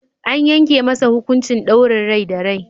An yanke masa hukuncin daurin rai da rai.